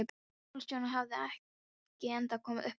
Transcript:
Skólastjórinn hafði ekki ennþá komið upp orði.